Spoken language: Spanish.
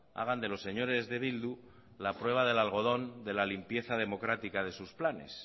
hagan de los señores de bildu la prueba del algodón de la limpieza democrática de sus planes